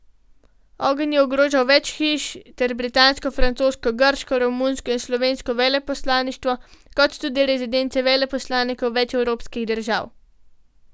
Ogenj je ogrožal več hiš ter britansko, francosko, grško, romunsko in slovensko veleposlaništvo kot tudi rezidence veleposlanikov več evropskih držav.